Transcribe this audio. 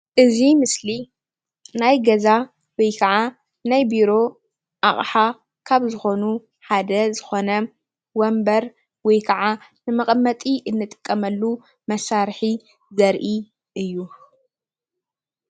እዚ ምስሊ ናይ ገዛ ወይ ከዓ ናይ ቢሮ ኣቅሓ ካብ ዝኮኑ ሓደ ዝኮነ ወንበር ወይ ከዓ ንመቀመጢ እንጥቀመሉ መሳርሒ ዘርኢ እዩ፡፡